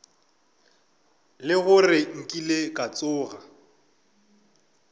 le gore nkile ka tsoga